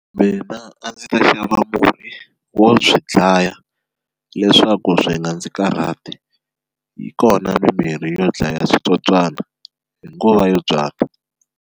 Mina a ndzi ta xava murhi wo swi dlaya leswaku swi nga ndzi karhati yi kona mimirhi yo dlaya switswotswana hi nguva yo byala.